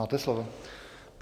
Máte slovo.